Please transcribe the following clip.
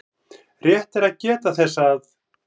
Rétt er að geta þess að